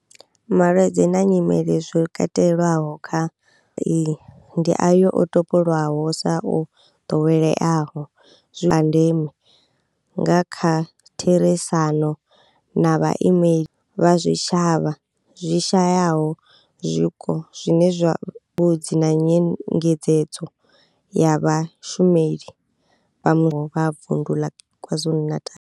Malwadze na nyimele zwo katelwaho kha iyi ndi ayo o topolwaho sa o ḓoweleaho a ndeme nga kha therisano na vhaimeleli vha zwitshavha zwi shayaho zwiko zwine zwa mbudzi na nyengedzedzo ya vhashumeli vha vundu la KwaZulu-Natal.